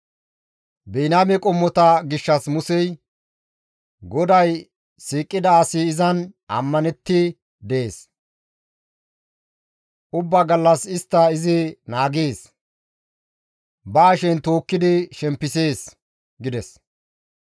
Biniyaame qommota gishshas Musey, «GODAY siiqida asi izan ammanetti dees; ubba gallas istta izi naagees; ba hashen tookkidi shempisees» gides.